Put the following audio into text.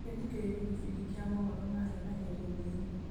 reke thikĩrĩrie gĩbindi kĩa mohoro ma hi na hi rĩndiũ-inĩ